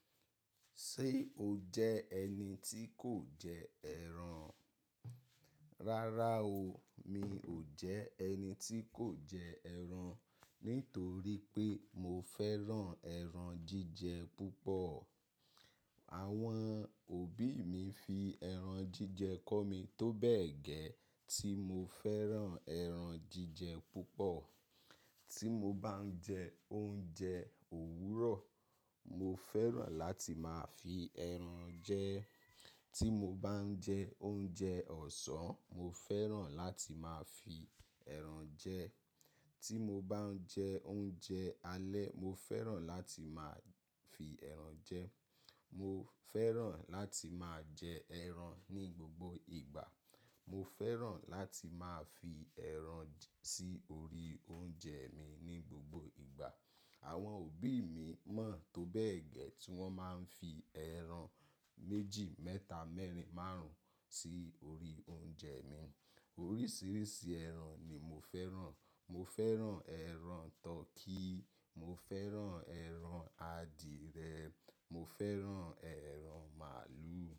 Ṣé o jẹ́ ẹni tí kò jẹ ẹran? Rárá o, mi ò jẹ ẹni tí kò jẹ ẹran, nítorí pé mo fẹ́ràn ẹran jíjẹ púpọ̀. Àwọn òbí mi fi ẹran jíjẹ kọ́ mi tó bẹ́ẹ̀ gẹ́ tí mo fẹ́ràn ẹran jíjẹ púpọ̀. Tí mo bá ń jẹ oúnjẹ òwúrọ̀, mo fẹ́ràn láti máa fi ẹran jẹ. Tí mo bá ń jẹ oúnjẹ ọ̀sán, mo fẹ́ràn láti máa fi ẹran jẹ. Tí mo bá ń jẹ oúnjẹ alẹ́, mo fẹ́ràn láti máa fi ẹran jẹ. Mo fẹ́ràn láti máa jẹ ẹran ní gbogbo ìgbà. Mo fẹ́ràn láti máa fi ẹran sí orí oúnjẹ mi ní gbogbo ìgbà. Àwọn òbí mi mọ̀ tó bẹ́ẹ̀ gẹ́ tí wọ́n máa ń fi ẹran méjì, mẹ́ta, mẹ́rin, márùn-ún sí orí oúnjẹ mi. Oríṣiríṣi ẹran ni mo fẹ́ràn. Mo fẹ́ràn ẹran turkey, mo fẹ́ràn ẹran adìẹ, mo fẹ́ràn ẹran màlúù.